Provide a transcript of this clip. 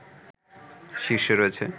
শীর্ষে রয়েছে